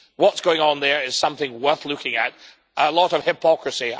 What is going on there is something worth looking at a lot of hypocrisy.